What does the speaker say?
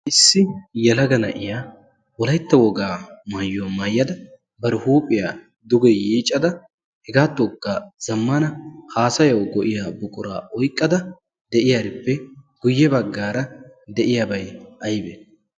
Issi yelaga na7iyaa wolaytta wogaa maayuwaa maayyada bar huuphiyaa duge yiiccada hegaatookka zammana haasayawu go7iya buquraa oyqqada de7iyaarippe guyye baggaara de7iyaabay aybbe?